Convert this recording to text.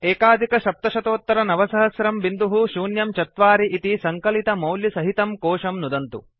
970104 इति सङ्कलितमौल्यसहितं कोशं नुदन्तु